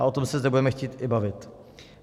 A o tom se zde budeme chtít i bavit.